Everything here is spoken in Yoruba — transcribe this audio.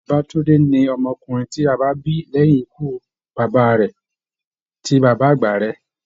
Babatunde ni ọmọkùnrin ti a bí lẹyìn ikú bàbá rẹ̀ tí bàbá àgbà rẹ.